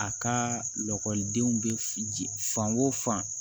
A ka lakɔlidenw bɛ ji fan o fan